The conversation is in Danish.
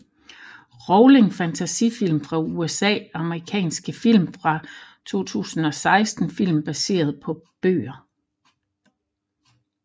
Rowling Fantasyfilm fra USA Amerikanske film fra 2016 Film baseret på bøger